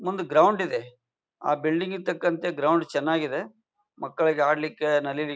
ಒಂದು ಗ್ರೌಂಡ್ ಇದೆ ಆ ಬಿಲ್ಡಿಂಗ್ ಗೆ ತಕ್ಕಂತೆ ಗ್ರೌಂಡ್ ಚೆನ್ನಾಗಿದೆ. ಮಕ್ಕಳಿಗೆ ಆಡಲಿಕ್ಕೆ ನಲೀಲಿ--